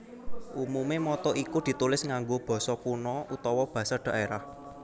Umume motto iku ditulis nganggo basa kuna utawa basa dhaerah